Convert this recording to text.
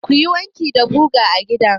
Ka yi wanki da guga a da?